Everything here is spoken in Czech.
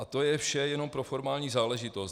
A to je vše jenom pro formální záležitost.